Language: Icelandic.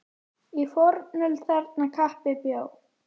Í fornöld þarna kappi bjó.